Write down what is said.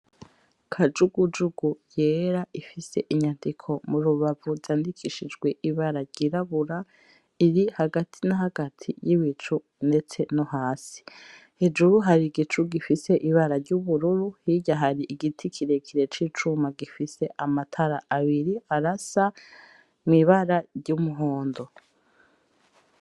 Kajugujugu yera ifise inyandiko mu rubavu zandikishijwe ibara ryirabura iri hagati na hagati y'ibicu ndetse no hasi, hejuru hari igicu gifise ibara ry'ubururu hirya hari igiti kirekire c'icuma gifise amatara abiri arasa mw'ibara ry'umuhondo.